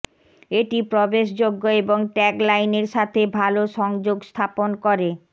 এটি প্রবেশযোগ্য এবং ট্যাগলাইনের সাথে ভাল সংযোগ স্থাপন করে